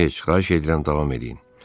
Heç, xahiş edirəm, davam eləyin.